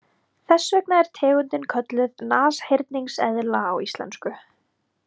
Þess vegna er tegundin kölluð nashyrningseðla á íslensku.